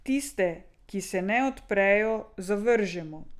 Tiste, ki se ne odprejo, zavržemo.